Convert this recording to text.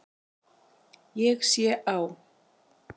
Ég sé á